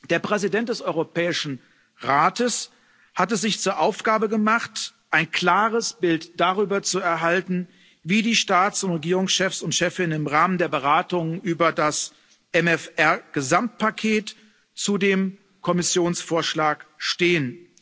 Der Präsident des Europäischen Rates hat es sich zur Aufgabe gemacht, ein klares Bild darüber zu erhalten, wie die Staats und Regierungschefs und chefinnen im Rahmen der Beratungen über das MFR Gesamtpaket zu dem Kommissionsvorschlag stehen.